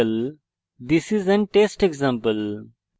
this is an test example